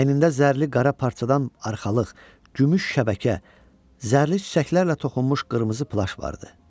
Əynində zərli qara parçadan arxalıq, gümüş şəbəkə, zərli çiçəklərlə toxunmuş qırmızı plaş vardı.